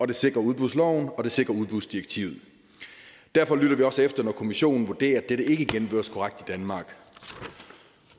det sikrer udbudsloven og det sikrer udbudsdirektivet derfor lytter vi også efter når kommissionen vurderer at dette ikke i danmark